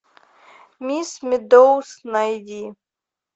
мисс медоуз найди